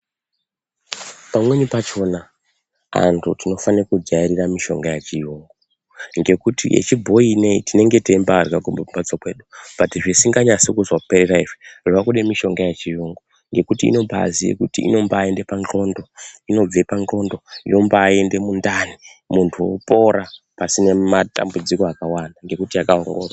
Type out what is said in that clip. Pamweni pachona antu tinofane kujairire mishonga yechiyungu. Ngekuti yechibhoi inoiyi tinenge teimbarya kumamhatso kwedu, bhati zvisinganyasi kuzopera izvinongode mushonga yechiyungu ngekuti inomba ziye kuti inombaende pandxondo inobve pandxondo yombaende mundani. Mantu vopora pasina matambudziko akawanda ngekuti akambo.